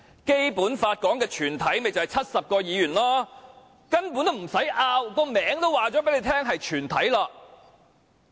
《基本法》說的"全體"便是70名議員，根本不用爭拗，名稱已經告訴大家是"全體"。